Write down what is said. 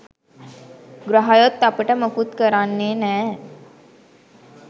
ග්‍රහයොත් අපට මොකුත් කරන්නෙ නෑ